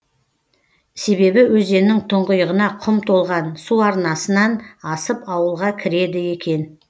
себебі өзеннің тұңғиығына құм толған су арнасынан асып ауылға кіреді екен